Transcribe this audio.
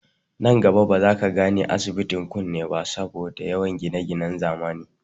Nan gaba ba za ka gane, asibitin kunne ba saboda yawan gineginen zamani